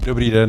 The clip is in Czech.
Dobrý den.